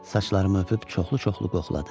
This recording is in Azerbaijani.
Saçlarımı öpüb çoxlu-çoxlu qoxladı.